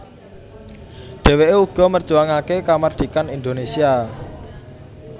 Dheweke uga merjuangake kamardhikan Indonésia